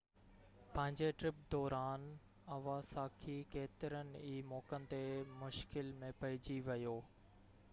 پنهنجي ٽرپ دوران اواساڪي ڪيترن ئي موقعن تي مشڪل ۾ پئجي ويو